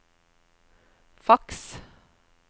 faks